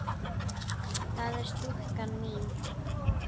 það er stúlkan mín.